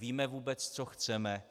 Víme vůbec, co chceme?